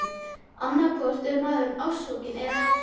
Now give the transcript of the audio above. Annaðhvort er maður ástfanginn- eða ekki!